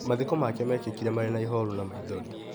Mathiko make kekĩkire marĩna ihoru na maithori.